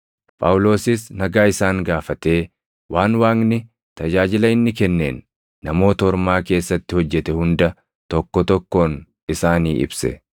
Phaawulosis nagaa isaan gaafatee waan Waaqni tajaajila inni kenneen Namoota Ormaa keessatti hojjete hunda tokko tokkoon isaanii ibse.